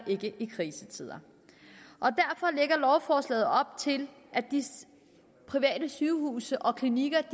ikke i en krisetid lovforslaget op til at de private sygehuse og klinikker